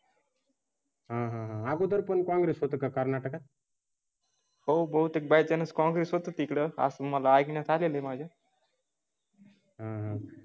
हां हां अगोदर पण काँग्रेस होतं कर्नाटक. हो बहुतेक बाय चान्स कॉंग्रेस होतो तिकडे तुम्हाला आणण्यात आले आहे माझे. हम्म हम्म